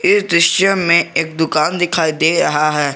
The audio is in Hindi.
इस दृश्य में एक दुकान दिखाई दे रहा है।